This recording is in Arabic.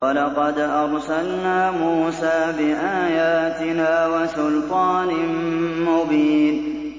وَلَقَدْ أَرْسَلْنَا مُوسَىٰ بِآيَاتِنَا وَسُلْطَانٍ مُّبِينٍ